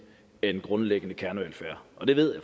end grundlæggende kernevelfærd og det ved